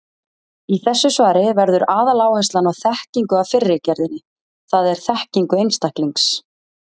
Í þessu svari verður aðaláherslan á þekkingu af fyrri gerðinni, það er þekkingu einstaklings.